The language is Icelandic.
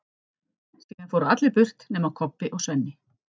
Síðan fóru allir burt nema Kobbi og Svenni.